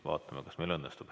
Vaatame, kas meil õnnestub.